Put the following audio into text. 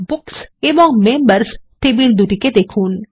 books এবং members table দুটিকে দেখুন